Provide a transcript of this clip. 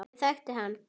Ég þekkti hann